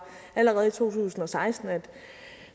allerede i to tusind og seksten at